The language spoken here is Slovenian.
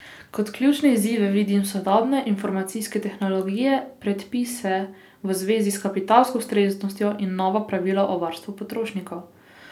Kot ključne izzive vidim sodobne informacijske tehnologije, predpise v zvezi s kapitalsko ustreznostjo in nova pravila o varstvu potrošnikov.